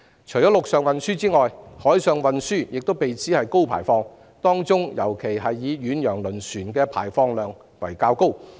除了陸上運輸外，海上運輸亦被指為高排放，當中以遠洋輪船的排放量較高。